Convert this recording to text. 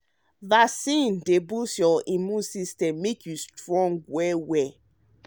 vaccines dey boost your immune system make you strong.